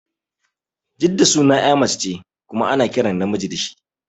Jidda sunan ƴa mace ce kuma ana kiran namiji da shi